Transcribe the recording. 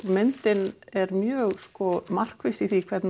myndin er mjög markviss í því hvernig